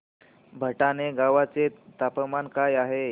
भटाणे गावाचे तापमान काय आहे